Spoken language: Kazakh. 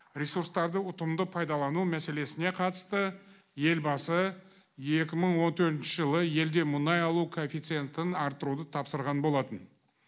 ресурстарды ұтымды пайдалану мәселесіне қатысты елбасы екі мың он төртінші жылы елде мұнай алу коэффицентін арттыруды тапсырған болатын